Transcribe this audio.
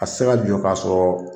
A tɛ se ka jɔ ka sɔrɔ